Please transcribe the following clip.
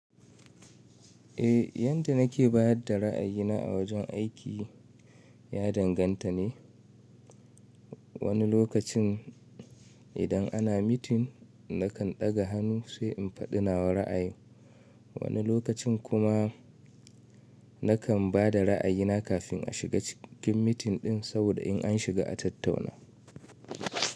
Eh, yanda nake bayar da ra'ayina a wajen aiki ya danganta ne. Wani lokacin idan ana mitin nakan ɗaga hannu sai in faɗi nawa ra'ayin, wani lokacin kuma nakan bada ra'ayina kafin a shiga cikin mitin ɗin saboda in an shiga a tattauna.